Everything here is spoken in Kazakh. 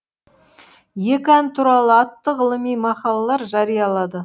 екі ән туралы атты ғылыми мақалалар жариялады